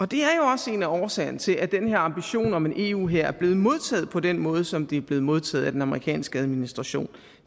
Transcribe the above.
det er jo også en af årsagerne til at den her ambition om en eu hær er blevet modtaget på den måde som den er blevet modtaget af den amerikanske administration